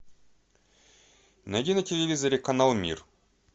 найди на телевизоре канал мир